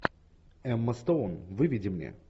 эмма стоун выведи мне